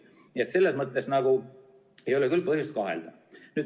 Nii et selles mõttes ei ole küll põhjust milleski kahelda.